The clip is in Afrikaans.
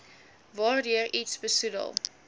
waardeur iets besoedel